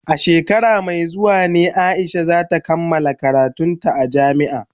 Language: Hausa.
A shekara mai zuwa ne Aisha za ta kammala karantun ta a jami'a.